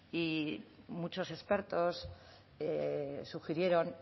y muchos expertos sugirieron